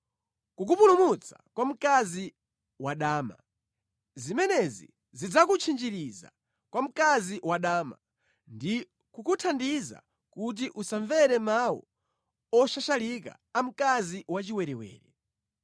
kukupulumutsa kwa mkazi wadama, zimenezi zidzakutchinjiriza kwa mkazi wadama, ndi kukuthandiza kuti usamvere mawu oshashalika a mkazi wachiwerewere.